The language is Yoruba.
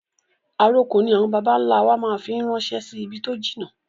Àrokò ni àwọn bàbà ń lá wa máa fi ń rànsẹ́ sì ibi tó jìnnà